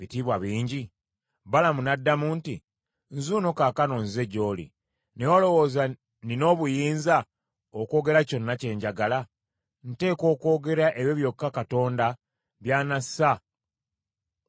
Balamu n’addamu nti, “Nzuuno kaakano nzize gy’oli! Naye olowooza nnina obuyinza okwogera kyonna kye njagala? Nteekwa okwogera ebyo byokka Katonda by’anassa mu kamwa kange.”